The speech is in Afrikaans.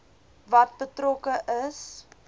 wat betrokke is